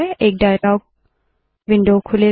एक dialog window खुलेगा